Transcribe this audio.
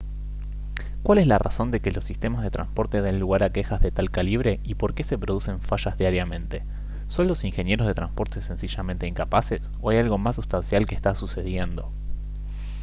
¿cuál es la razón de que los sistemas de transporte den lugar a quejas de tal calibre y por qué se producen fallas diariamente? ¿son los ingenieros de transporte sencillamente incapaces? ¿o hay algo más sustancial que está sucediendo?